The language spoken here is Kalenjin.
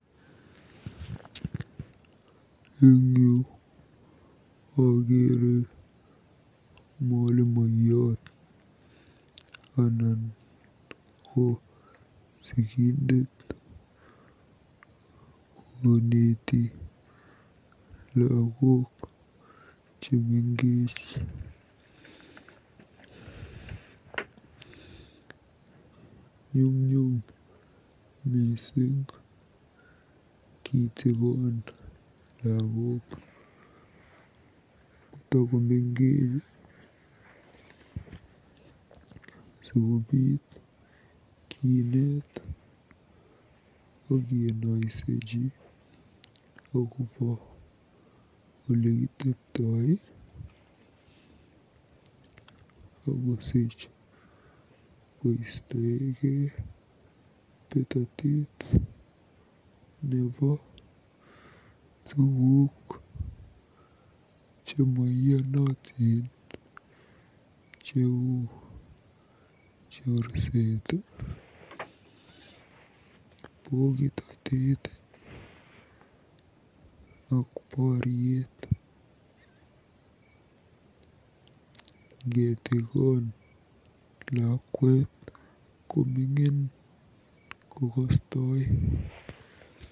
Eng yu akeere mwalimoiyot anan ko sikindet koneeti lagook chemengech. Nyumnyum mising kitikon lagook kotakomengech sikobiit kineet akinoisechi akobo olekitepto akosich koisteikei betotet nebo tuguk chemoiyonotin cheu chorset, pokitotet ak poriet. Ngetikon lakwet koming'in kokostoi.